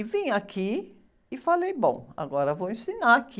E vim aqui e falei, bom, agora vou ensinar aqui.